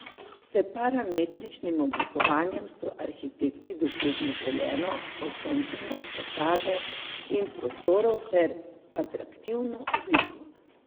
S parametričnim oblikovanjem so arhitekti dosegli želeno osončenost fasade in prostorov ter atraktivno obliko.